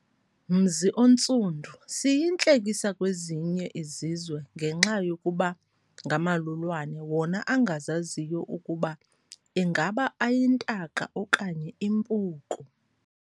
Mzi oNtsundu siyintlekisa kwezinye izizwe ngenxa yokuba ngamalulwane wona angazaziyo ukuba ingaba ayintaka okanye impuku.